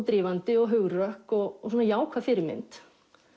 drífandi og hugrökk og svona jákvæð fyrirmynd